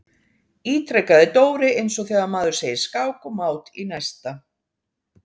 ítrekaði Dóri eins og þegar maður segir skák og mát í næsta.